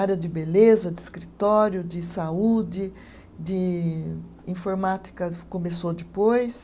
Área de beleza, de escritório, de saúde, de informática começou depois.